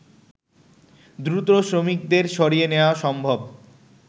দ্রুত শ্রমিকদের সরিয়ে নেওয়া সম্ভব